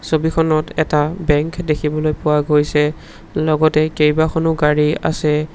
ছবিখনত এটা বেংক দেখিবলৈ পোৱা গৈছে লগতে কেইবাখনো গাড়ী আছে।